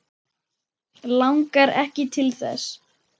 Langar ekki til þess.